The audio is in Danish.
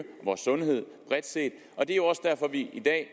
vores sundhed bredt set det er også derfor vi i dag